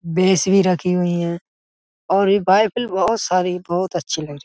भैंस भी रखी हुई हैं और ये बाइबल बहोत सारी बहोत अच्छी लग रही।